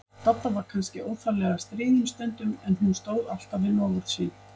Dadda var kannski óþarflega stríðin stundum, en hún stóð alltaf við loforð sín.